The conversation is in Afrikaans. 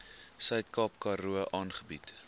suidkaap karoo aangebied